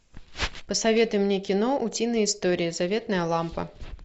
посоветуй мне кино утиные истории заветная лампа